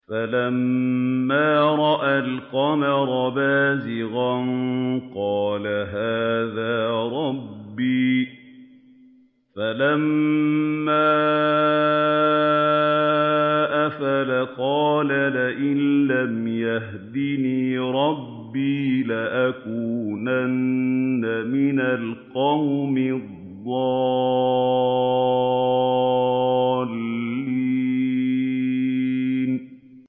فَلَمَّا رَأَى الْقَمَرَ بَازِغًا قَالَ هَٰذَا رَبِّي ۖ فَلَمَّا أَفَلَ قَالَ لَئِن لَّمْ يَهْدِنِي رَبِّي لَأَكُونَنَّ مِنَ الْقَوْمِ الضَّالِّينَ